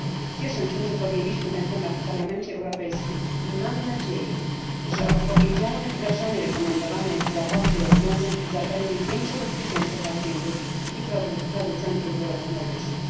Cieszę się, że podjęliśmy ten temat w Parlamencie Europejskim i mam nadzieję, że odpowiedzialne wdrażanie rekomendowanych w sprawozdaniu rozwiązań zapewni większe bezpieczeństwo pacjentów i producentów wyrobów medycznych.